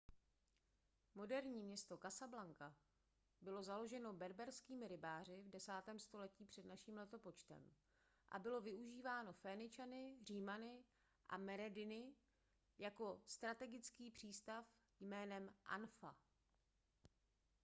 moderní město casablanca bylo založeno berberskými rybáři v 10. století př n l a bylo využíváno féničany římany a merenidy jako strategický přístav jménem anfa